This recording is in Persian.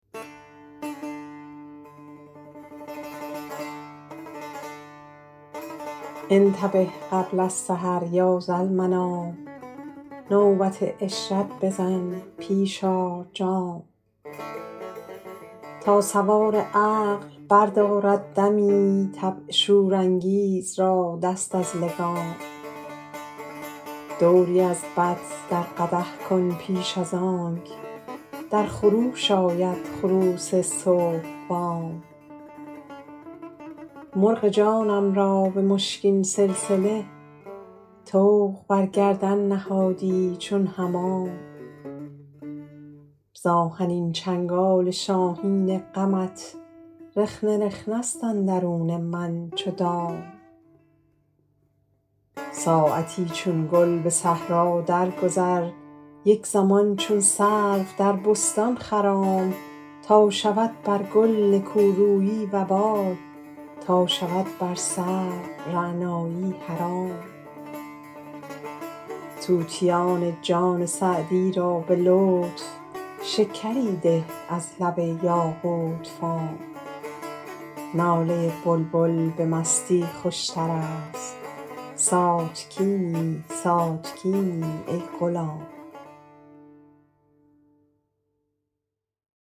انتبه قبل السحر یا ذالمنام نوبت عشرت بزن پیش آر جام تا سوار عقل بردارد دمی طبع شورانگیز را دست از لگام دوری از بط در قدح کن پیش از آنک در خروش آید خروس صبح بام مرغ جانم را به مشکین سلسله طوق بر گردن نهادی چون حمام ز آهنین چنگال شاهین غمت رخنه رخنه ست اندرون من چو دام ساعتی چون گل به صحرا درگذر یک زمان چون سرو در بستان خرام تا شود بر گل نکورویی وبال تا شود بر سرو رعنایی حرام طوطیان جان سعدی را به لطف شکری ده از لب یاقوت فام ناله بلبل به مستی خوشتر است ساتکینی ساتکینی ای غلام